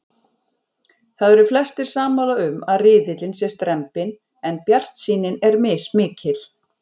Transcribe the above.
Það eru flestir sammála um að riðillinn sé strembinn en bjartsýnin er mismikil.